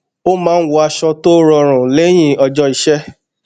ó máa ń wọ aṣọ tó rọrùn lẹyìn ọjọ iṣẹ